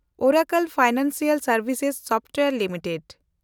Oracle Financial ᱥᱮᱱᱰᱵᱷᱤᱥᱮᱥ Software limited